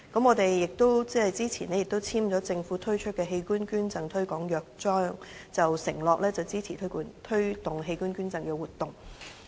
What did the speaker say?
我們早前亦簽署了政府推出的器官捐贈推廣約章，承諾支持推動器官捐贈活動。